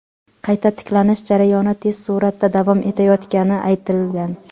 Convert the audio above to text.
Qayta tiklanish jarayoni tez suratda davom etayotgani aytilgan.